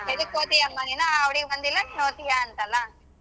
ಎದಕ್ ಹೋದಿ ಅಮ್ಮ ನೀನು ಆ ಹುಡ್ಗಿ ಬಂದಿಲ್ಲಾ ನಿನ್ ಹೋಗ್ತೀಯಾ ಅಂತಾಳ.